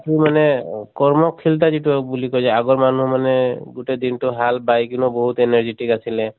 সেইতো মানে কৰ্ম যিটো বুলি কয় যে আগৰ মানুহ মানে গোটেই দিনটো হাল বায় কেনেও বহুত energetic আছিলে